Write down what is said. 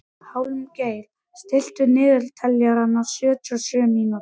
Hjálmgeir, stilltu niðurteljara á sjötíu og sjö mínútur.